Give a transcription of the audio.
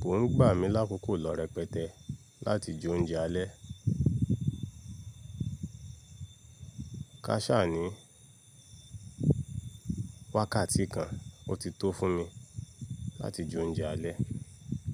Kó ń gbà mí lákòókò lọ̀rẹpẹtẹ láti jẹ oúnjẹ alẹ́. Kásà ni wákàtí kan, ó ti tó fún mi láti jẹ oúnjẹ alẹ́.